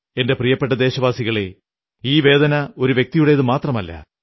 എന്റെ പ്രിയപ്പെട്ട ദേശവാസികളേ ഈ വേദന ഒരു വ്യക്തിയുടേതു മാത്രമല്ല